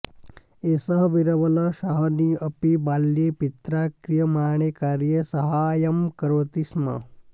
एषः बीरबल साहनी अपि बाल्ये पित्रा क्रियमाणे कार्ये साहाय्यं करोति स्म